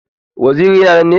Waziri yana nan ne?